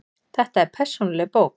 Þetta er persónuleg bók.